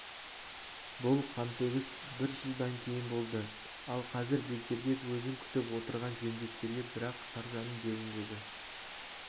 бұл қантөгіс бір жылдан кейін болды ал қазір бегдербек өзін күтіп отырған жендеттерге бірақ саржанның беліндегі